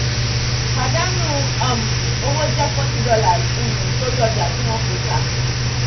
pàdánù um owó jẹ́ forty dollars um torí ọjà tí wọ́n kọ tà.